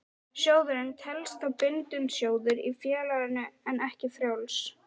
Sjóðurinn telst þá bundinn sjóður í félaginu en ekki frjáls.